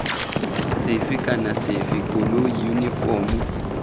sefe kana sefe koloi yunifomo